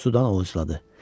Suda ovucladı.